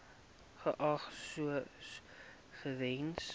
geag sou gewees